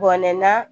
Bɔnɛ na